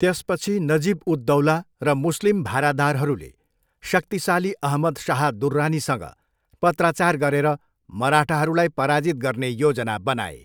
त्यसपछि नजिब उद दौला र मुस्लिम भारादारहरूले शक्तिशाली अहमद शाह दुर्रानीसँग पत्राचार गरेर मराठाहरूलाई पराजित गर्ने योजना बनाए।